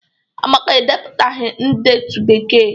Amaka edepụtaghị ndetu Bekee.